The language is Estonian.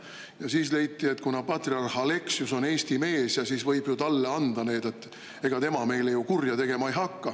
Ja siis leiti, et kuna patriarh Aleksius on Eesti mees, siis võib ju talle anda need, ega tema meile kurja tegema ei hakka.